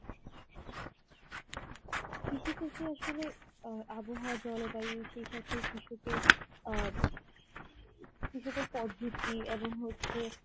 কৃষি ক্ষেত্রে আসলে অ্যাঁ আবহাওয়া, জলবায়ু সেই সাথে কৃষকের অ্যাঁ কৃষকের পদ্ধতি এবং হচ্ছে